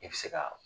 I bɛ se ka